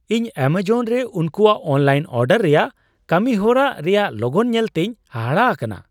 ᱤᱧ ᱮᱢᱟᱡᱚᱱ ᱨᱮ ᱩᱱᱠᱩᱣᱟᱜ ᱚᱱᱞᱟᱭᱤᱱ ᱚᱰᱟᱨ ᱨᱮᱭᱟᱜ ᱠᱟᱹᱢᱤᱦᱚᱨᱟ ᱨᱮᱭᱟᱜ ᱞᱚᱜᱚᱱ ᱧᱮᱞᱛᱮᱧ ᱦᱟᱦᱟᱲᱟᱜ ᱟᱠᱟᱱᱟ ᱾